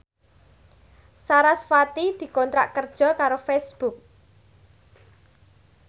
sarasvati dikontrak kerja karo Facebook